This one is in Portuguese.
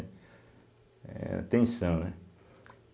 É a tensão, né?